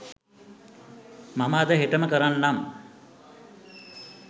මම අද හෙටම කරන්නම්.